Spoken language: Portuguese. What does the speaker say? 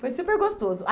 Foi super gostoso.